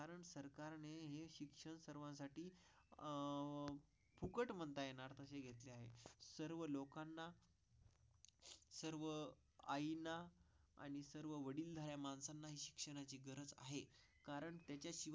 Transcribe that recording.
Cut म्हणता येणार नाही. सर्व लोकांना आईना आणि सर्व वडीलधाऱ्या माणसांना शिक्षणाची गरज आहे. कारण त्याची फुकट म्हणता येईल.